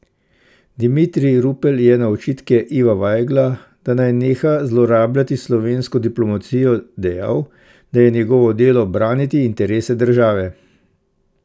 Dimitrij Rupel je na očitke Iva Vajgla, da naj neha zlorabljati slovensko diplomacijo, dejal, da je njegovo delo braniti interese države.